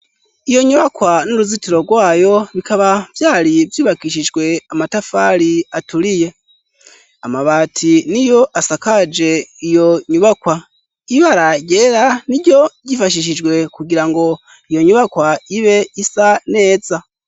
iyo nyubakwa n'uruzitiro rwayo bikaba vyari vyubakishijwe amatafari aturiye amabati niyo asakaje iyo nyubakwa ibara ryera n'iryo ryifashishijwe kugira ngo iyo nyubakwa ibe isa neza